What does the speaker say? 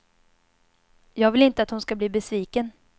Jag vill inte att hon ska bli besviken.